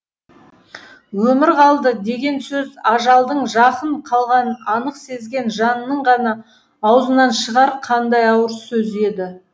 өмір қалды деген сөз ажалдың жақын қалғанын анық сезген жанның ғана аузынан шығар қандай ауыр сөз еді